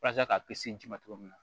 Walasa k'a ji ma cogo min na